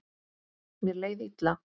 Mér leið illa.